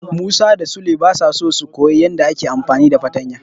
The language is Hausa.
Musa da Sule basa so su koyi yadda ake amfani da fartanya.